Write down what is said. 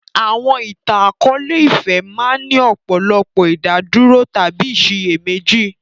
Àwọn ìtàn akọ̀ọ̀lẹ-ìfẹ́ máa ń ní ọ̀pọ̀lọpọ̀ ìdádúró tàbí ìsiyèméjì